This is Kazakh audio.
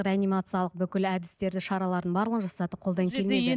реанимациялық бүкіл әдістерді шаралардың барлығын жасадық қолдан келмеді